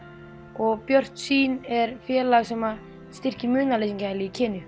og Björt sýn er félag sem styrkir munaðarleysingjahæli í